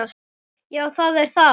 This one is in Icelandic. Já, það er það